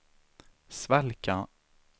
svalka